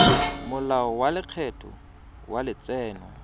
molao wa lekgetho wa letseno